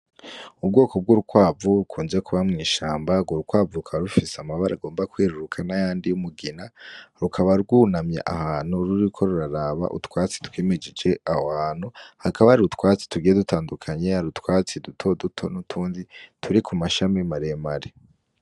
Ubwoko bw'urwavu kunje kuba mw'ishamba rwo rukwavukaba rufise amabara agomba kwieruruka na yandi y'umugina rukaba rwunamye ahantu ruri ko ruraraba utwatsi twimijije awo hantu hakaba ari utwatsi tugiye dutandukanye ari utwatsi duto duto n'utundi turi ku mashami marem are.